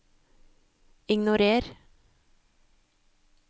ignorer